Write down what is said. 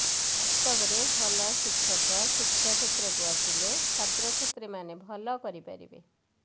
ବାସ୍ତବରେ ଭଲ ଶିକ୍ଷକ ଶିକ୍ଷା କ୍ଷେତ୍ରକୁ ଆସିଲେ ଛାତ୍ରଛାତ୍ରୀମାନେ ଭଲ କରିପାରିବେ